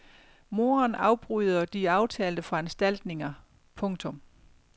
Moderen afbryder de aftalte foranstaltninger. punktum